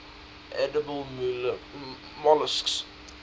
edible molluscs